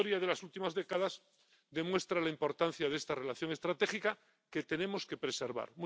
La historia de las últimas décadas demuestra la importancia de esta relación estratégica que tenemos que preservar.